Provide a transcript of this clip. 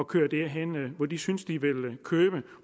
kører derhen hvor de synes at de vil købe ind